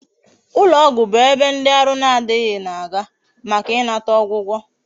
Ulo ogwu bu ebe ndi Aru na adighi, na aga maka inata ogwugo